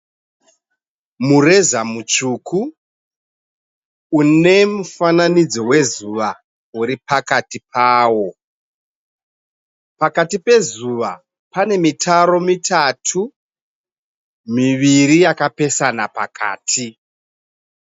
Mureza mutsvuku une mufananidzo wezuva uri pakati pawo. Pakati pezuva pane mitaro mitatu, miviri yakapesana pakati.